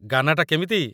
ଗାନା ଟା କେମିତି?